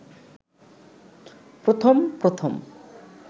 প্রথম প্রথম